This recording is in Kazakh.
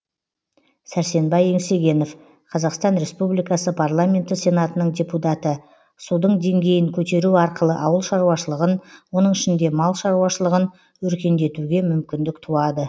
сәрсенбай еңсегенов қазақстан республикасы парламенті сенатының депутаты судың деңгейін көтеру арқылы ауыл шаруашылығын оның ішінде мал шаруашылығын өркендетуге мүмкіндік туады